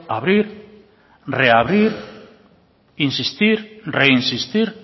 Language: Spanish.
abrir reabrir insistir reinsistir